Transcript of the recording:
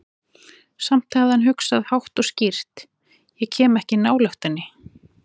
Samt hafði hann hugsað, hátt og skýrt: Ég kem ekki nálægt henni.